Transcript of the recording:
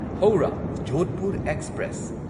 Howrah Jodhpur express